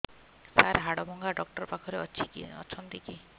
ସାର ହାଡଭଙ୍ଗା ଡକ୍ଟର ପାଖରେ ଅଛନ୍ତି କି